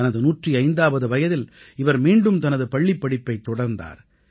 தனது 105ஆவது வயதில் இவர் மீண்டும் தனது பள்ளிப்படிப்பைத் தொடர்ந்தார்